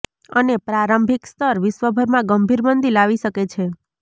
અને પ્રારંભિક સ્તર વિશ્વભરમાં ગંભીર મંદી લાવી શકે છે